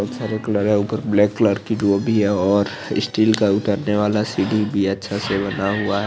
ऊपर black colour की रूबी है और स्टील का उतर ने वाला सीडी भी है अच्छा सा बना हुआ है।